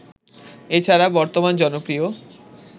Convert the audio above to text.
এছাড়া বর্তমান জনপ্রিয়